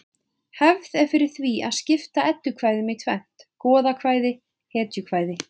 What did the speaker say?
Hefð er fyrir því að skipta eddukvæðum í tvennt: goðakvæði hetjukvæði